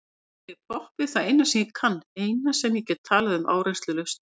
Kannski er poppið það eina sem ég kann, eina sem ég get talað um áreynslulaust.